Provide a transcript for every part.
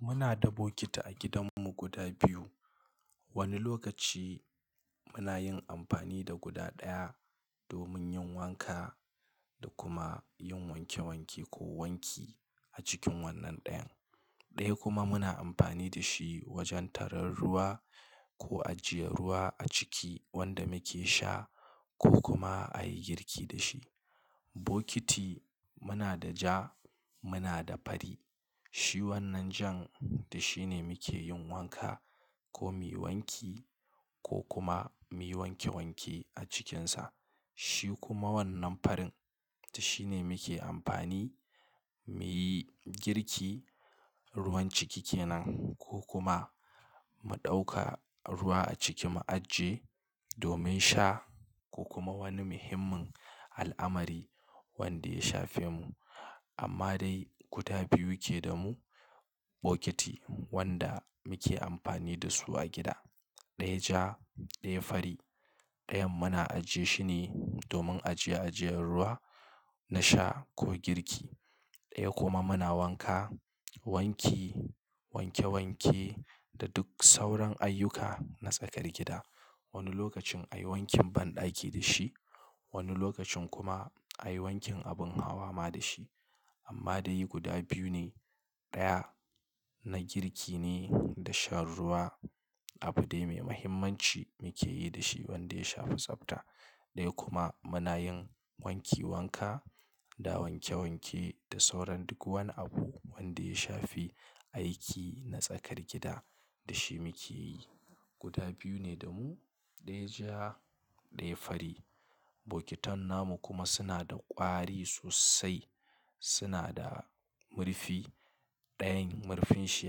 Muna da bokiti a gidanmu guda biyu. Wani lokaci muna yin amfani da guda ɗaya domin yin wanka da kuma yin wanke wanke ko wanki a cikin wannan ɗayan. Ɗaya kuma muna amfani da shi wajen tarar ruwa ko ajiye ruwa a ciki wanda muke sha ko kuma a yi girki da shi. Bokiti muna da ja, muna da fari. Shi wannan jan da shi ne muke yin wanka ko miyi wanki ko kuma miyi wanke wanke a cikinsa. Shi kuma wannan farin ta shi ne muke amfani, mi yi girki, ruwan ciki kenan ko kuma mu ɗauka ruwa a ciki mu aje domin sha ko kuma wani muhimmin al'amari wanda ya shafe mu. Amma dai guda biyu ke damu bokiti wanda muke amfani da su a gida. Ɗaya ja, ɗaya fari. Ɗayan muna ajiye shi ne domin ajiye ajiyar ruwa na sha ko girki. Ɗaya kuma muna wanka, wanki, wanke wanke da duk sauran ayyuka na tsakar gida. Wani lokacin a yi wankin banɗaki da shi, wani lokacin kuma a yi wankin abin hawa ma da shi. Amma dai yi guda biyu ne. Ɗaya na girki ne da shan ruwa, abu dai mai muhimmanci muke yi da shi wanda ya shafi tsafta. Ɗaya kuma muna yin wanki wanka da wanke wanke da sauran duk wani abu wanda ya shafi aiki na tsakar gida da shi muke yi. Guda biyu ne da mu, ɗaya ja, ɗaya fari. Bokitan namu kuma suna da ƙwari sosai. Suna da murfi. Ɗayan marfinshi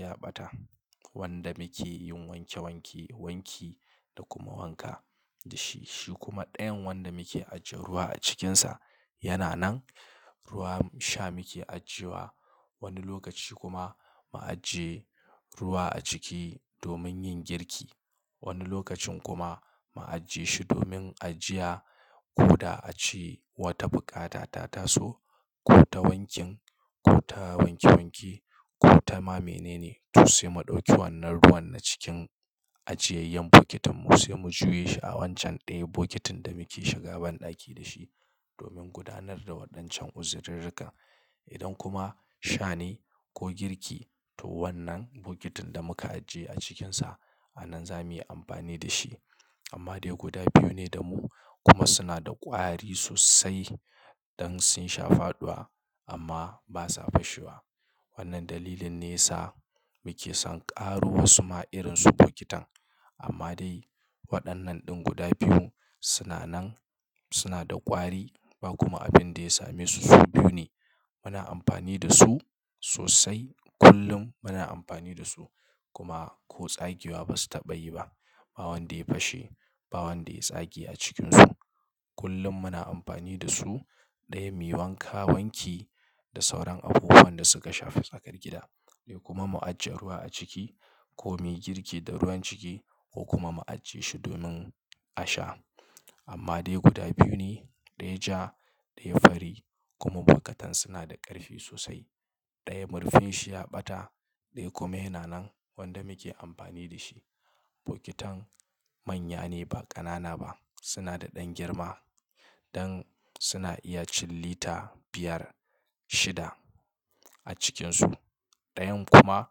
ya ɓata wanda muke yin wanke wanke, wanki da kuma wanka da shi. Shi kuma ɗayan wanda muke ajiye ruwa a cikinsa yana nan. Ruwan sha muke ajiye wa. Wani lokaci kuma mu ajiye ruwa a ciki domin yin girki. Wani lokacin kuma mu ajiye shi domin ajiye ko da a ce wata buƙata ta taso ko ta wankin ko ta wanke wanke ko ta ma mene ne. To sai mu ɗauki wannan ruwan na cikin ajiyayyen bokitin mu sai mu juye shi a wancan ɗayan bokitin da muke shiga banɗaki da shi domin gudanar da waɗancan uzirirrika. Idan kuma sha ne ko girki to wannan bokitin da muka ajiye a cikinsa a nan za mu yi amfani da shi. Amma dai guda biyu ne da mu kuma suna da ƙwari sosai don sun sha faɗuwa amma ba sa fashewa. Wannan dalilin ne yasa muke ma son ƙaro wasu ma irin su bokitan. Amma dai waɗannan ɗin guda biyu suna nan, suna da ƙwari ba kuma abin da ya same su. Su biyu ne. Muna amfani da su sosai. Kullum muna amfani da su kuma ko tsagewa ba su taɓa yi ba. Ba wanda ya fashe, ba wanda ya tsage a cikinsu. Kullum muna amfani da su. Ɗaya miyi wanka wanki da sauran abubuwan da suka shafi tsakar gida. Ɗaya kuma mu ajiye ruwa a ciki ko mu yi girki da ruwan ciki ko kuma mu ajiye shi domin a sha. Amma dai guda biyu ne. Ɗaya ja, ɗaya fari kuma bokatan suna da ƙarfi sosai. Ɗaya murufinshi ya ɓata, ɗaya kuma yana nan wanda muke amfani da shi. Bokitan manya ne ba ƙanana ba. Suna da ɗan girma don suna iya cin lita biyar, shida a cikinsu. Ɗayan kuma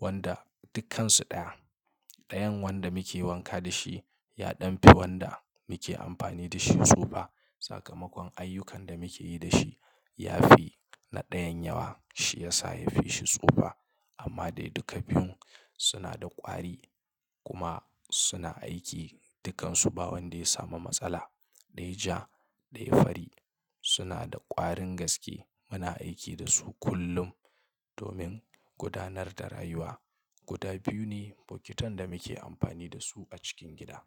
wanda dukkansu ɗaya. Ɗayan wanda muke wanka da shi ya ɗan fi wanda muke amfani da shi tsufa. Sakamakon ayyukan da muke yi da shi ya fi na ɗayan yawa shi yasa ya fi shi tsufa. Amma dai duka biyun suna da ƙwari kuma suna aiki dukkansu ba wanda ya samu matsala. Ɗaya ja, ɗaya fari suna da ƙwarin gaske. Muna aiki da su kullum domin gudanar da rayuwa. Guda biyu ne bokitan da muke amfani da su a cikin gida.